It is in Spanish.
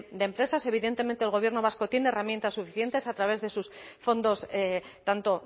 de empresas evidentemente el gobierno vasco tiene herramientas suficientes a través de sus fondos tanto